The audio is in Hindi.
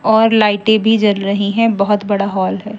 और लाइटें भी जल रही हैं बहुत बड़ा हॉल है।